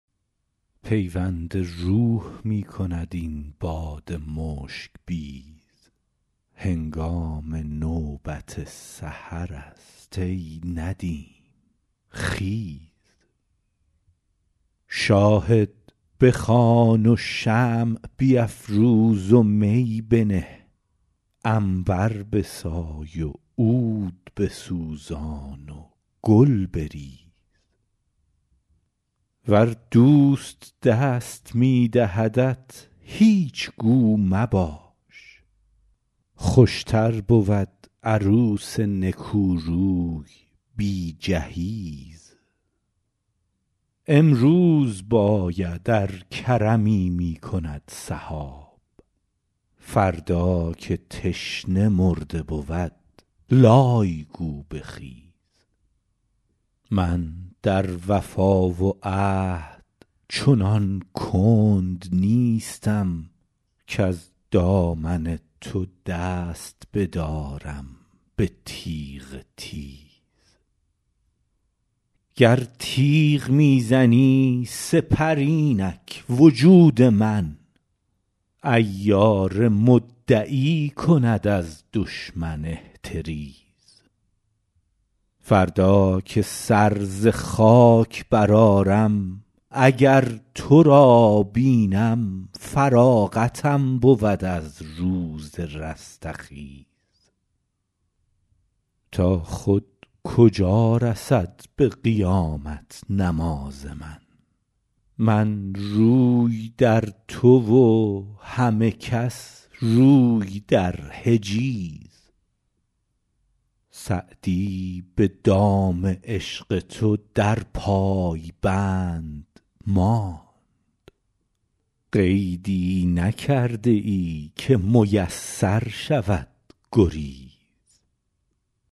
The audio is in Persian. پیوند روح می کند این باد مشک بیز هنگام نوبت سحرست ای ندیم خیز شاهد بخوان و شمع بیفروز و می بنه عنبر بسای و عود بسوزان و گل بریز ور دوست دست می دهدت هیچ گو مباش خوشتر بود عروس نکوروی بی جهیز امروز باید ار کرمی می کند سحاب فردا که تشنه مرده بود لای گو بخیز من در وفا و عهد چنان کند نیستم کز دامن تو دست بدارم به تیغ تیز گر تیغ می زنی سپر اینک وجود من عیار مدعی کند از دشمن احتریز فردا که سر ز خاک برآرم اگر تو را بینم فراغتم بود از روز رستخیز تا خود کجا رسد به قیامت نماز من من روی در تو و همه کس روی در حجیز سعدی به دام عشق تو در پای بند ماند قیدی نکرده ای که میسر شود گریز